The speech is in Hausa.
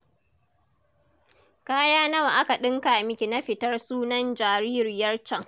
Kaya nawa aka ɗinka miki na fitar sunan jaririyar can?